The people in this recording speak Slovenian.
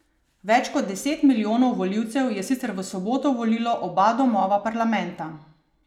Več kot deset milijonov volivcev je sicer v soboto volilo oba domova parlamenta.